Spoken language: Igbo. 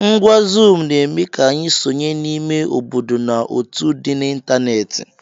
Ngwá zuum na-eme ka anyị sonye n'ime obodo na otù dị n'ịntanetị.